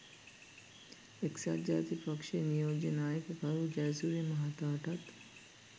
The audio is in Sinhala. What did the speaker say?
එක්සත් ජාතික පක්ෂයේ නියෝජ්‍ය නායක කරූ ජයසූරිය මහතාටත්